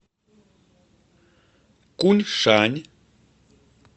куньшань